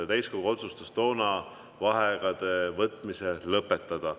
Ja täiskogu otsustas toona vaheaegade võtmise lõpetada.